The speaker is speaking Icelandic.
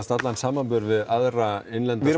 allan samanburð við aðra innlenda